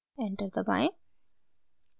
enter दबाएं